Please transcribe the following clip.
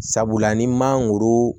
Sabula ni mangoro